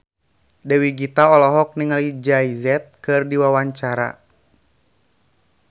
Dewi Gita olohok ningali Jay Z keur diwawancara